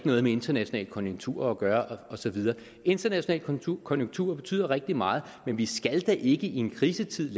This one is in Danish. noget med internationale konjunkturer at gøre og så videre internationale konjunkturer betyder rigtig meget men vi skal da ikke i en krisetid